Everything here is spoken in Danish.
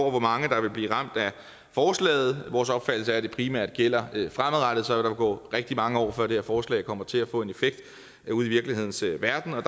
og hvor mange der vil blive ramt af forslaget vores opfattelse er at det primært gælder fremadrettet så der vil gå rigtig mange år før det her forslag kommer til at få en effekt ude i virkelighedens verden og